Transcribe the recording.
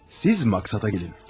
Siz maksada gelin.